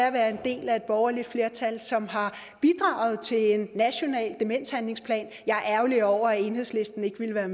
at være en del af et borgerligt flertal som har bidraget til en national demenshandlingsplan jeg er ærgerlig over at enhedslisten ikke ville være